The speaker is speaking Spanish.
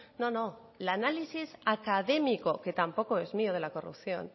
no no el análisis académico que tampoco es mío de la corrupción